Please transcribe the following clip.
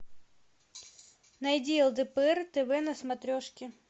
найди лдпр тв на смотрешке